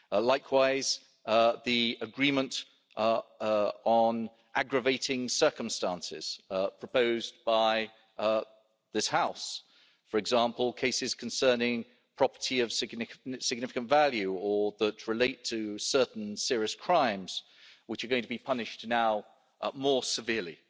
Likewise, the agreement on aggravating circumstances, proposed by this House, for example, cases concerning property of significant value or that relate to certain serious crimes, which are now going to be punished more severely.